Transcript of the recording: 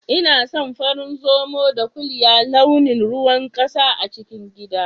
Inason farin Zomo da ƙuliya launin ruwan ƙasa a cikin gida.